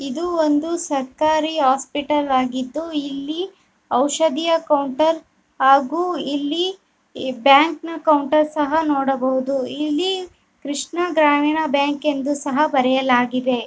ಇದು ಒಂದು ಸರ್ಕಾರಿ ಹಾಸ್ಪಿಟಲ್ ಆಗಿದ್ದು. ಇಲ್ಲಿ ಔಷಧೀಯ ಕೌಂಟರ್ ಆಗೂ ಇಲ್ಲಿ ಬ್ಯಾಂಕ್ ನ ಕೌಂಟರ್ ಸಹ ನೋಡಬಹುದು. ಇಲ್ಲಿ ಕೃಷ್ಣ ಗ್ರಾಮೀಣ ಬ್ಯಾಂಕ್ ಎಂದು ಸಹ ಬರೆಯಲಾಗಿದೆ.